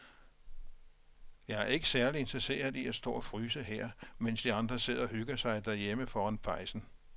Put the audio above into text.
Jeg er ikke særlig interesseret i at stå og fryse her, mens de andre sidder og hygger sig derhjemme foran pejsen.